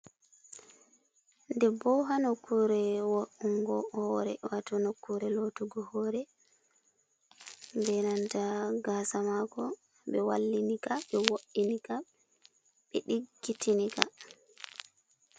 Debbo hanokkure wo'ingo hore, wato nokkure lotugo hore, be nanta gaasa mako, be wallinika ɓe woɗini ka ɓe ɗiggitini ka.